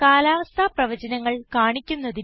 കാലാവസ്ഥ പ്രവചനങ്ങൾ കാണിക്കുന്നതിന്